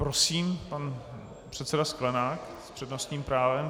Prosím, pan předseda Sklenák s přednostním právem.